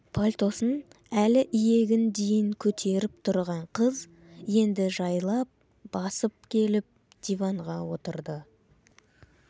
пальтосын әлі иегін дейін көтеріп тұрған қыз енді жайлап басып келіп диванға отырды